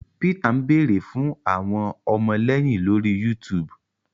Peter ń beere fún àwọn ọmọléyìn lórí YouTube